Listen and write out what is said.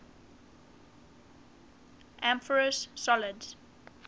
amorphous solids